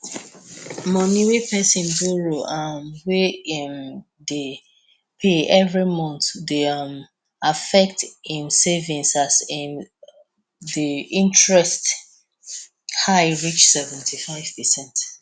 money wey pesin borrow um wey em dey pay every month dey um affect em savings as um the interest high reach seventy five percent